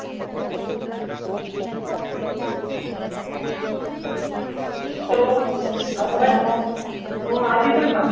hello आवाज आवाज येतोय का?